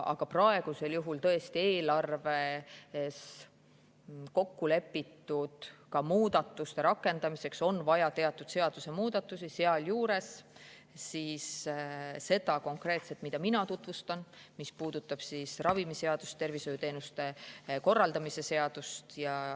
Aga praegu on eelarves kokku lepitud muudatuste rakendamiseks vaja tõesti teatud seadusemuudatusi, sealhulgas seda konkreetset, mida mina tutvustan, mis puudutab ravimiseadust ja tervishoiuteenuste korraldamise seadust.